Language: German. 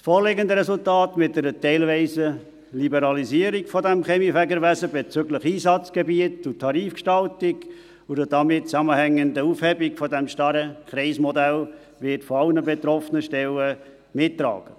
Das vorliegende Resultat mit einer teilweisen Liberalisierung dieses Kaminfegerwesens bezüglich Einsatzgebiet und Tarifgestaltung und einer damit zusammenhängenden Aufhebung des starren Kreismodells wird von allen betroffenen Stellen mitgetragen.